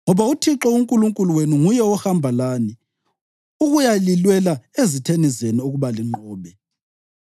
Ngoba uThixo uNkulunkulu wenu nguye ohamba lani ukuyalilwela ezitheni zenu ukuba linqobe.’